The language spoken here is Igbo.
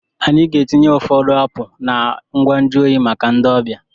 Anyị ga-etinye ụfọdụ apụl na ngwa nju oyi maka ndị ọbịa.